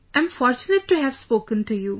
Am fortunate to have spoken to you